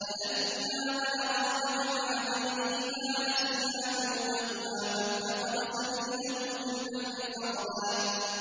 فَلَمَّا بَلَغَا مَجْمَعَ بَيْنِهِمَا نَسِيَا حُوتَهُمَا فَاتَّخَذَ سَبِيلَهُ فِي الْبَحْرِ سَرَبًا